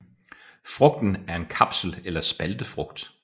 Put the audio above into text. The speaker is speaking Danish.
Frugten er en kapsel eller spaltefrugt